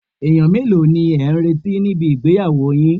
Èèyàn mélòó ni ẹ̀ ń retí níbi ìgbéyàwó yin